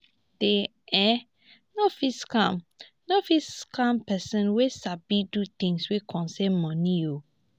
dey um no fit scam no fit scam pesin wey sabi do things wey concern moni